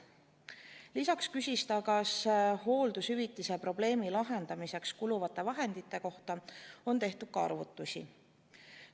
Lisaks küsis ta, kas hooldushüvitise probleemi lahendamiseks kuluvate vahendite kohta on arvutusi tehtud.